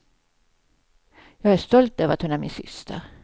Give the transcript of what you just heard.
Jag är stolt över att hon är min syster.